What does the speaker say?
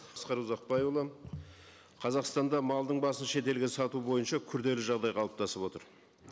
асқар ұзақбайұлы қазақстанда малдың басын шетелге сату бойынша күрделі жағдай қалыптасып отыр